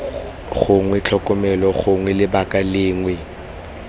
gongwe tlhokomelo gongwe lebaka lengwe